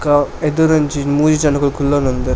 ಕಾ ಎದುರೊಂಜಿ ಮೂಜಿ ಜನೊಕುಲು ಕುಲ್ಲೊಂದುಲ್ಲೆರ್.